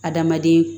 Adamaden